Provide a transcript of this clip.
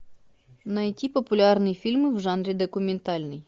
найти популярные фильмы в жанре документальный